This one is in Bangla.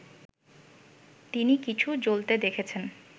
তিনি কিছু জ্বলতে দেখেছেন